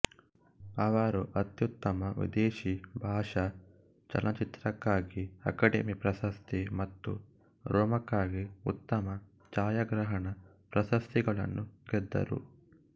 ಅವರು ಅತ್ಯುತ್ತಮ ವಿದೇಶಿ ಭಾಷಾ ಚಲನಚಿತ್ರಕ್ಕಾಗಿ ಅಕಾಡೆಮಿ ಪ್ರಶಸ್ತಿ ಮತ್ತು ರೋಮಾಕ್ಕಾಗಿ ಉತ್ತಮ ಛಾಯಾಗ್ರಹಣ ಪ್ರಶಸ್ತಿಗಳನ್ನು ಗೆದ್ದರು